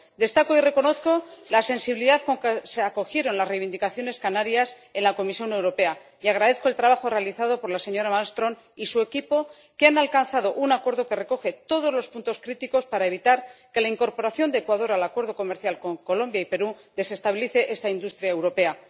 Destaco y reconozco la sensibilidad con que se acogieron las reivindicaciones canarias en la Comisión Europea y agradezco el trabajo realizado por la señora Malmström y su equipo, que han alcanzado un acuerdo que recoge todos los puntos críticos para evitar que la incorporación de Ecuador al Acuerdo Comercial con Colombia y Perú desestabilice esta industria europea.